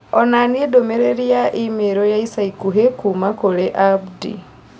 Onania ndũmĩrĩri ya i-mīrū ya ica ikuhĩ kuuma kũrĩ Abdi